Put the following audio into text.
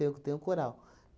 Eu que tenho coral.